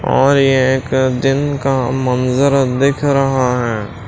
और ये एक दिन का मंजर दिख रहा है।